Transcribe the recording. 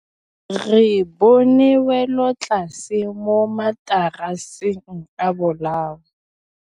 Re bone wêlôtlasê mo mataraseng a bolaô.